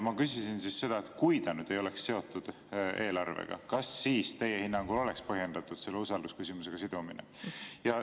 Ma küsisin seda, et kui eelnõu ei oleks seotud eelarvega, kas siis teie hinnangul oleks põhjendatud selle usaldusküsimusega sidumine.